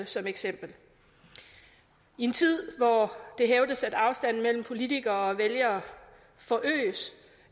som eksempel i en tid hvor det hævdes at afstanden mellem politikere og vælgere forøges